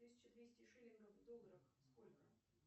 тысяча двести шиллингов в долларах сколько